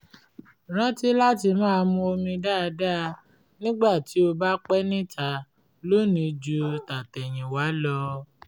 rántí láti máa mu omi dáadáa nígbà tí o bá pé níta lónìí ju tàtẹ̀yìnwá lọ